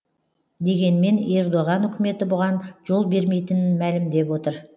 дегенмен ердоған үкіметі бұған жол бермейтінін мәлімдеп отыр